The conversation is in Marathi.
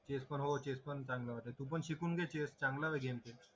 चेस पण हो चेस पण चांगला वाटलं तू पण शिकून घे चेस चांगलाय गेम